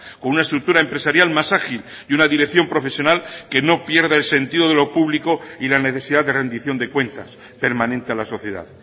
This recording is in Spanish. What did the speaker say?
con una estructura empresarial más ágil y una dirección profesional que no pierda el sentido de lo público y la necesidad de rendición de cuentas permanente a la sociedad